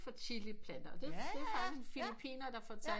Fra chiliplanter og det er faktisk en filippiner der fortalt